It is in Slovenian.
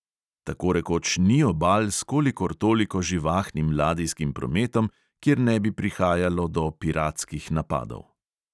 Tako rekoč ni obal s kolikor toliko živahnim ladijskim prometom, kjer ne bi prihajalo do piratskih napadov.